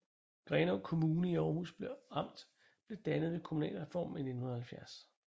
Grenaa Kommune i Århus Amt blev dannet ved kommunalreformen i 1970